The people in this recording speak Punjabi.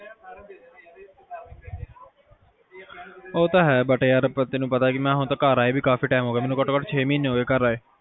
ਉਹ ਤਾ ਹੈ but ਯਾਰ ਪਰ ਹੁਣ ਤਾ ਘਰ ਆਏ ਭੀ ਕਾਫੀ time ਹੋਗਿਆ, ਘਟੋ ਘੱਟ ਛੇ ਮਹੀਨੇ ਹੋਗੇ ਘਰ ਆਏ ਕੇ